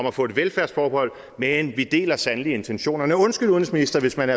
at få et velfærdsforbehold men vi deler sandelig intentionerne undskyld udenrigsminister hvis man